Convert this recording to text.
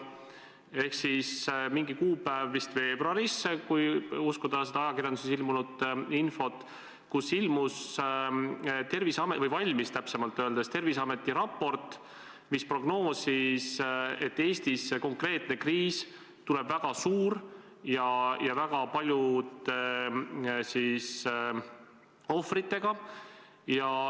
Oli üks kuupäev vist veebruaris – kui uskuda ajakirjanduses ilmunud infot –, kus ilmus või täpsemalt öeldes valmis Terviseameti raport, mis prognoosis, et Eestis tuleb see konkreetne kriis väga suur ja väga paljude ohvritega.